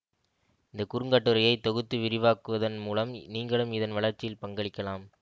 இந்த குறுங்கட்டுரையை தொகுத்து விரிவாக்குவதன் மூலம் நீங்களும் இதன் வளர்ச்சியில் பங்களிக்கலாம்